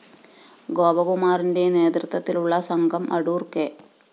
ഗോപകുമാറിന്റെ നേതൃത്വത്തിലുള്ള സംഘം അടൂര്‍ കെ